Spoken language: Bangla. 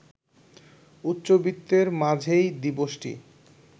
উচ্চবিত্তের মাঝেই দিবসটি